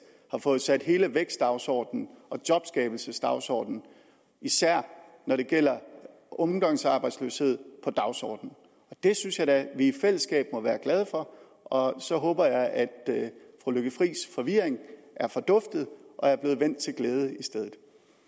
har fået sat hele vækstdagsordenen og jobskabelsesdagsordenen især når det gælder ungdomsarbejdsløshed på dagsordenen det synes jeg da vi i fællesskab må være glade for og så håber jeg at fru lykke friis forvirring er forduftet og er blevet vendt til glæde i stedet